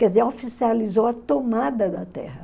Quer dizer, oficializou a tomada da terra.